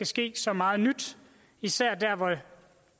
ske så meget nyt især der hvor